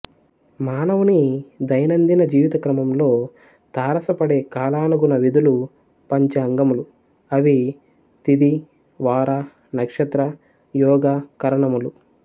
మానవుని దైనందిన జీవిత క్రమంలో తారసపడే కాలానుగుణ విధులు పంచ అంగములు అవి తిథి వార నక్షత్ర యోగ కరణములు